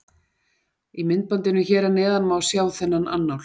Í myndbandinu hér að neðan má sjá þennan annál.